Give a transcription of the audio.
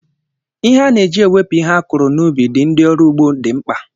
Ihe a na eji ewepu ihe akuru na ubi dị ndị ọrụ ugbo dị mkpa.